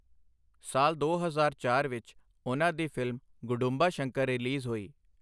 ਸਾਲ ਦੋ ਹਜ਼ਾਰ ਚਾਰ ਵਿੱਚ ਉਹਨਾਂ ਦੀ ਫਿਲਮ 'ਗੁਡੁੰਬਾ ਸ਼ੰਕਰ' ਰਿਲੀਜ਼ ਹੋਈ।